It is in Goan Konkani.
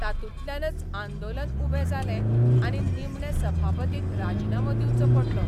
तातूंतल्यानच आंदोलन उबें जालें आनी निमणे सभापतीक राजिनामो दिवचो पडलो.